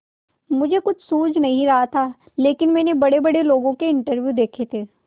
मुझे कुछ सूझ नहीं रहा था लेकिन मैंने बड़ेबड़े लोगों के इंटरव्यू देखे थे